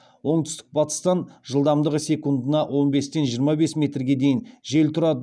оңтүстік батыстан жылдамдығы секундына он бестен жиырма бес метрге дейін жел тұрады